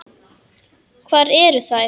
Hvar eru þær?